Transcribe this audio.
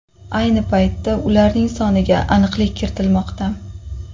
Ayni paytda ularning soniga aniqlik kiritilmoqda.